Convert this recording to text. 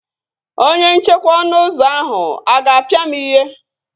Onye nchekwa ọnụ ụzọ ahụ a ga-apia m ihe?